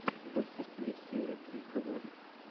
у тебя в списке есть серия три фаворит